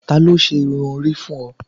tani o ṣe irun ori fun ọ?